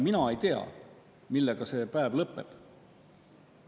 Mina ei tea, millega see päev lõpeb.